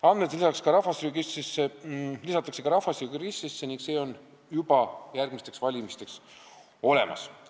Andmed lisatakse rahvastikuregistrisse ning need on seal siis järgmisteks valimisteks olemas.